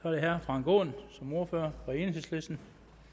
er det herre frank aaen som ordfører for enhedslisten